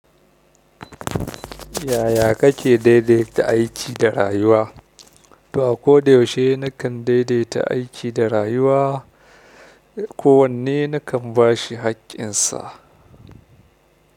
Yaya kake daidaita aiki da rayuwa? To ako da yaushe nakan daidaita aiki da rayuwa, kowanne nakan ba shi haƙƙinsa.